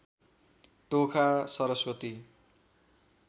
Tokha Saraswati